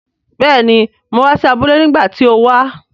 Béèni, mo wa si abúlé nígbàtí ti o wa